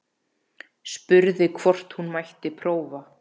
Spurði hvort hún mætti prófa.